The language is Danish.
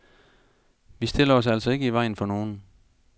Vi stiller os altså ikke i vejen for nogen.